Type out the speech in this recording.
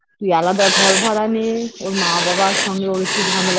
তুই আলাদা ঘর ভাড়া নে ওর মা বাবার সঙ্গে ওর একটু ঝামেলা